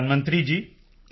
ਪ੍ਰਧਾਨ ਮੰਤਰੀ ਜੀ